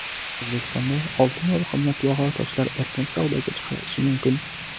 O‘zbekistonda oltin va qimmatbaho toshlar erkin savdoga chiqarilishi mumkin.